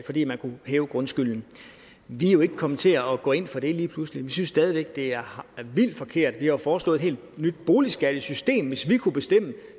fordi man kunne hæve grundskylden vi er jo ikke kommet til at gå ind for det lige pludselig vi synes stadig det er vildt forkert vi har jo foreslået et helt nyt boligskattesystem hvis vi kunne bestemme